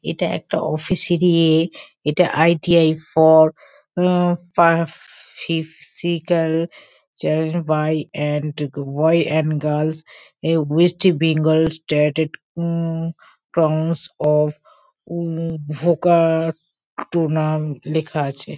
এটা একটা অফিস - এর ই এ- এটা ITI for a far physical by and the boy and girls a West Bengal um of um vocational লেখা আছে।